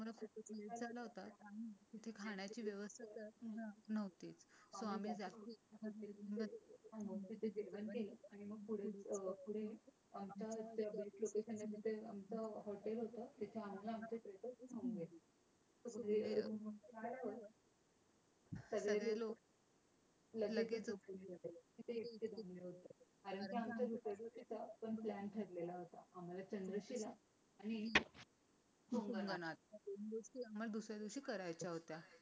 सगळे लोक लगेच झोपत होते. तिथे एक ते शून्य होतो. कारण आमचा दुसऱ्या दिवशीचा पण प्लॅन ठरलेला होता. आम्हाला तंदुरुस्त केला आणि मोकळ्या मनात. मग दुसऱ्या दिवशी करायच्या होत्या.